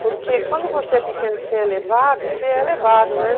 Porque quando você é pequena e que você é você né?